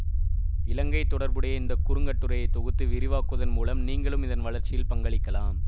இலங்கை தொடர்புடைய இந்த குறுங்கட்டுரையை தொகுத்து விரிவாக்குவதன் மூலம் நீங்களும் இதன் வளர்ச்சியில் பங்களிக்கலாம்